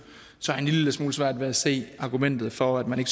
så har jeg en lille smule svært ved at se argumentet for at man